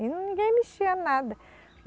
E ninguém mexia nada.